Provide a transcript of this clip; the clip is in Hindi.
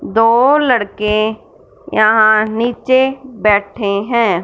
दो लड़के यहां नीचे बैठे हैं।